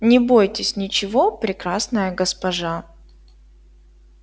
не бойтесь ничего прекрасная госпожа